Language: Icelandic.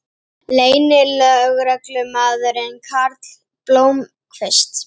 Leynilögreglumaðurinn Karl Blómkvist